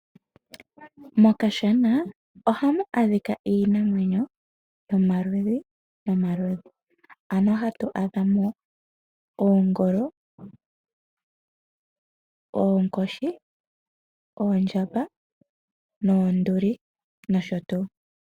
Mokashana ohamu adhika iinamwenyo yomaludhi ano hatu adhamo oongolo, oonkoshi oondjamba noonduli noshotuu.